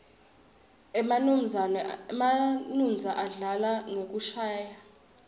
emanuodza adlala ngekushayaua